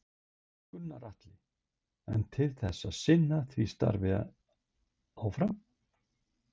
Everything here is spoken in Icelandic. Gunnar Atli: En til þess að sinna því starfi áfram?